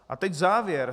A teď závěr.